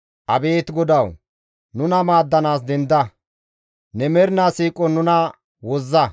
Abeet Godawu, nuna maaddanaas denda! Ne mernaa siiqon nuna wozza.